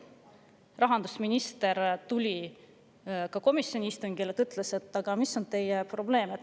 Rahandusminister tuli komisjoni istungile ja ütles: "Aga mis on teie probleem?